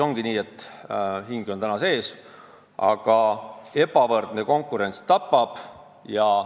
Ongi nii, et hing on sees, aga ebavõrdne konkurents tapab.